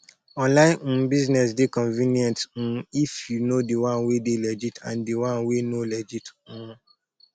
online um business dey convenient um if you know di one wey dey legit and di one wey no legit um